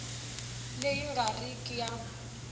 leyi nga ri ki ya